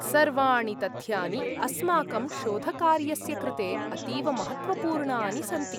सर्वाणि तथ्यानि अस्माकं शोधकार्यस्य कृते अतीव महत्त्वपूर्णानि सन्ति।